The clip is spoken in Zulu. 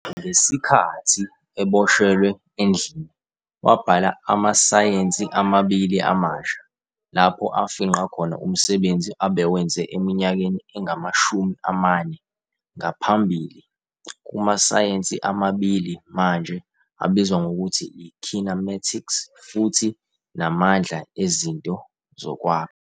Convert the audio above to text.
Ngesikhathi eboshelwe endlini, wabhala "Amasayensi Amabili Amasha", lapho afingqa khona umsebenzi abewenze eminyakeni engamashumi amane ngaphambili kumasayensi amabili manje abizwa ngokuthi yi- kinematics futhi namandla ezinto zokwakha.